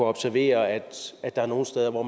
observere at der er nogle steder hvor